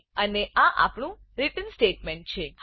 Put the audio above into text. અને આ આપણું રિટર્ન સ્ટેટમેન્ટ રીટર્ન સ્ટેટમેંટ છે